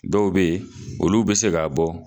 Dɔw bɛ yen olu bɛ se k'a bɔ